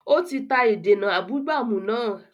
Ó ti ta ìdènà abúgbàmù náà